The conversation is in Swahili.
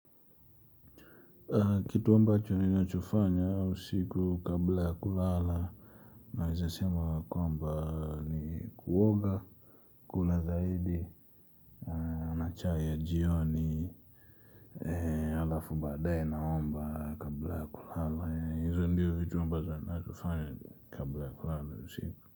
Kitu ambacho ninachofanya usiku kabla ya kulala naweza kwamba ni kuoga kuna zaidi na chai ya jioni. Halafu baadaye naomba kabla ya kulala. Hizo ndiyo vitu ambazo ninazofanya kabla ya kulala usiku.